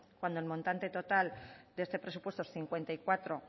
cuando el montante total de este presupuesto es cincuenta y cuatro